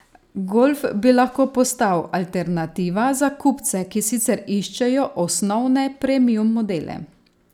Golf bi lahko postal alternativa za kupce, ki sicer iščejo osnovne premium modele.